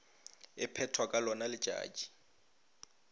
e phethwa ka lona letšatši